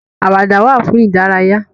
Àwàdà wà fún ìdárayá.